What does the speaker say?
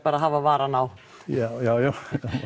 að hafa varann á já